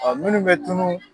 minnu bɛ tunu